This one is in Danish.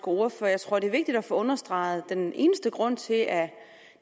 ordfører jeg tror det er vigtigt at få understreget at den eneste grund til at